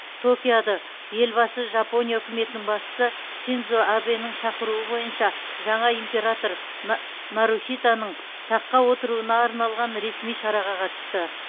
токиода елбасы жапония үкіметінің басшысы синдзо абэнің шақыруы бойынша жаңа император на нарухитоның таққа отыруына арналған ресми шараға қатысты